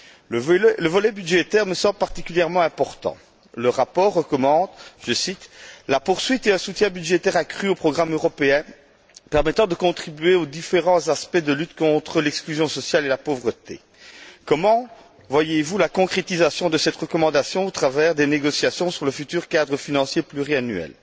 Le volet budgétaire me semble particulièrement important. Le rapport recommande je cite la poursuite et un soutien budgétaire accru du programme européen permettant de contribuer aux différents aspects de lutte contre l'exclusion sociale et la pauvreté. Comment voyez vous la concrétisation de cette recommandation au travers des négociations sur le futur cadre financier pluriannuel?